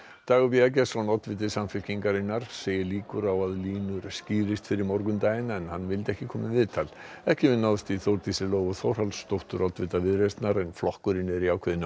Dagur b Eggertsson oddviti Samfylkingarinnar segir líkur á að línur skýrist fyrir morgundaginn en hann vildi ekki koma í viðtal ekki hefur náðst í Þórdísi Lóu Þórhallsdóttur oddvita Viðreisnar en flokkurinn er í ákveðinni